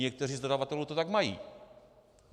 Někteří z dodavatelů to tak mají.